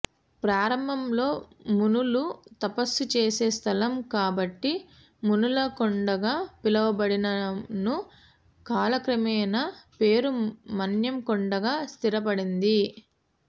ప్రారంభంలో మునులు తపస్సు చేసే స్థలం కాబట్టి మునులకొండగా పిలువబడిననూ కాలక్రమేణా పేరు మన్యంకొండగా స్థిరపడింది